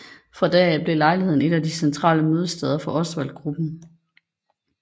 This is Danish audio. Fra da af blev lejligheden et af de centrale mødesteder for Osvaldgruppen